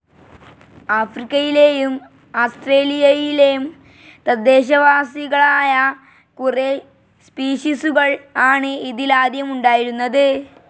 ആഫ്രിക്കയിലേയും ആസ്ത്രേലിയയിലേം തദ്ദേശവാസികളായ കുറെ സ്പീഷിസുകൾ ആണ് ഇതിൽ ആദ്യം ഉണ്ടായിരുന്നത്.